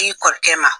I kɔrɔkɛ ma